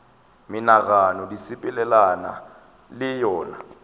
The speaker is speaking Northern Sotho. menagano di sepelelana le yona